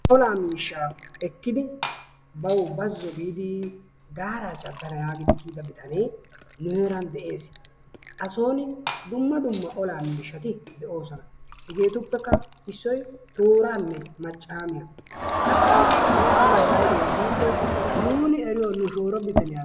Olaa miishshaa ekkidi bawu bazo biidi gaaraa cadanna yaagidi kiyida bitanee nu heeran de'ees. Asoon dumma dumma olaa miishshati de'oosona. Hegeetuppekaa issoy tooranne maccaamiya. Qassi harabay aybee giikko nuuni eriyo nu shooro bitaniya.